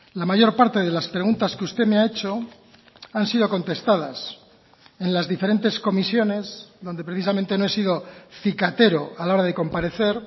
la mayor parte de las preguntas que usted me ha hecho han sido contestadas en las diferentes comisiones donde precisamente no he sido cicatero a la hora de comparecer